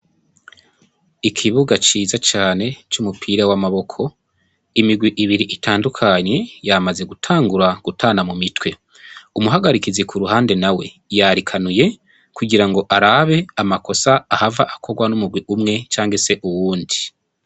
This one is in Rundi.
Ikibuga ciza cane c'umupira w'amaboko. Imigwi ibiri itandukanye, yamaze gutangura gutana mu mitwe. Umuhagarikizi ku ruhande nawe yarikanuye kugira ngo arabe amakosa ahava akorwa n'umugwi umwe canke se uwundi.